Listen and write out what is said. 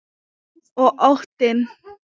Og óttinn.